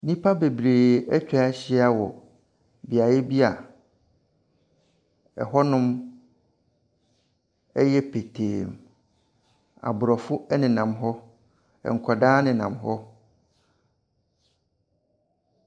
Nnipa beberee atwa ahyia mu wɔ beaɛ bi a,ɛhɔnom yɛ pɛtɛɛ mu, abrɔfo nenam hɔ, nkwadaa nenam hɔ.